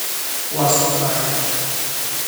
Waa soo daaheen.